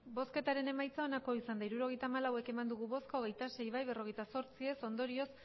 hirurogeita hamalau eman dugu bozka hogeita sei bai berrogeita zortzi ez ondorioz